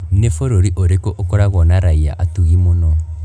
Nĩ bũrũri ũrĩkũ ukoragwo na raia atugi mũno?